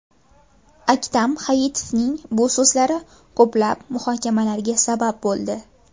Aktam Hayitovning bu so‘zlari ko‘plab muhokamalarga sabab bo‘ldi .